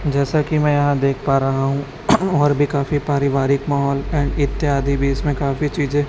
जैसा कि मैं यहां देख पा रहा हूं और भी काफी पारिवारिक माहौल एंड इत्यादि भी इसमें काफी चीजे--